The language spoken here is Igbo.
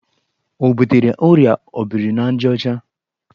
O butere ọrịa obrinajaọcha?